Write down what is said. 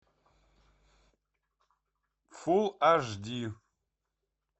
фул аш ди